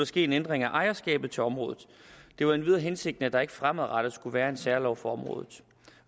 ske en ændring af ejerskabet til området det var endvidere hensigten at der ikke fremadrettet skulle være en særlov for området